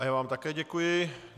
A já vám také děkuji.